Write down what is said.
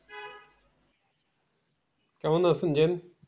কেমন আছেন জেন?